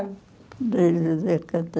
A Avenida